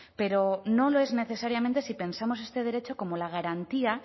pero no lo es necesariamente si pensamos este derecho como la garantía